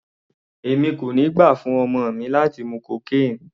Èmi kò ní gbà fún ọmọ mi láti mú cocaine.